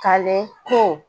Kalen ko